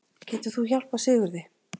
Getur þú hjálpað Sigurði?